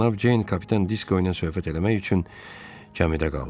Cənab Ceyn kapitan Disko ilə söhbət eləmək üçün kamidə qaldı.